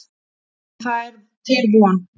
En það er til von.